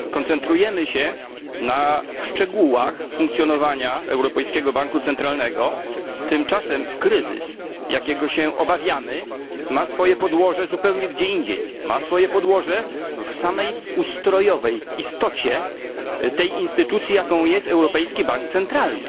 Koncentrujemy się na szczegółach funkcjonowania Europejskiego Banku Centralnego, tymczasem kryzys, jakiego się obawiamy, ma swoje podłoże zupełnie gdzie indziej ma swoje podłoże w samej ustrojowej istocie tej instytucji jaką jest Europejski Bank Centralny.